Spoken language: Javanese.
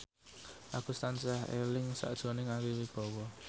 Agus tansah eling sakjroning Ari Wibowo